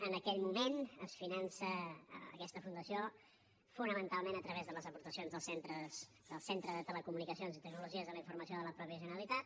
en aquell moment es finança aquesta fundació fonamentalment a través de les aportacions del centre de telecomunicacions i tecnologies de la informació de la mateixa generalitat